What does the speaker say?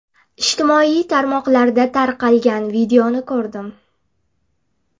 Ijtimoiy tarmoqlarda tarqalgan videoni ko‘rdim.